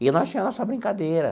E nós tinha a nossa brincadeira.